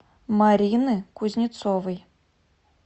марины кузнецовой